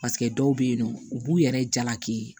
Paseke dɔw bɛ yen nɔ u b'u yɛrɛ jalaki